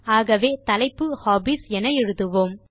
ஆகவே தலைப்பைHOBBIES என எழுதுவோம்